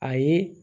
A ye